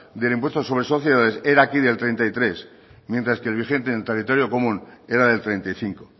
sobre el impuesto sobre sociedades era aquí del treinta y tres mientras que el vigente en territorio común era del treinta y cinco